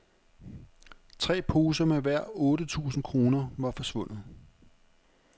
Tre poser med hver otte tusind kroner var forsvundet.